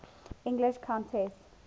english countesses